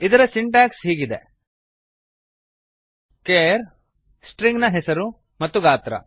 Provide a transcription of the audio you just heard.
ಇದರ ಸಿಂಟ್ಯಾಕ್ಸ್ ಹೀಗಿದೆ160 char string ನ ಹೆಸರು ಮತ್ತು ಗಾತ್ರ